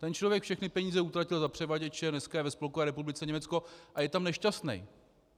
Ten člověk všechny peníze utratil za převaděče, dneska je ve Spolkové republice Německo a je tam nešťastný.